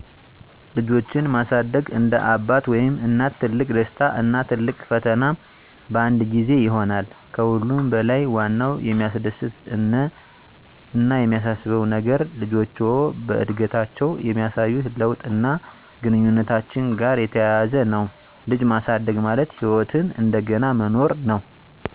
ልጆችን ማሳደግ እንደ አባት ወይም እናት ትልቅ ደስታ እና ትልቅ ፈተና በአንድ ጊዜ ይሆናል። ከሁሉም በለይ ዋናው የሚያስደስት አነ የሚያሳስበው ነገር ልጆችዎ በአድገታችዉ የሚያሳዩት ለውጥ አና ግንኙነታችን ጋራ የተያያዘ ነው። ልጅ ማሳደግ ማለት ህይወትን እንደገና መኖር ነው።